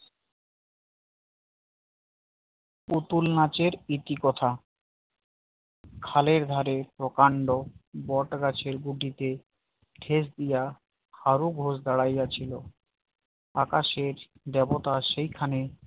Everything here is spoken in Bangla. পুতুল নাচের ইতিকথা খালের ধারে প্রকাণ্ড বট গাছের গুড়িতে ঠেস দিয়া হারু ঘোষ দাঁড়াইয়া ছিল আকাশের দেবতা সেখানে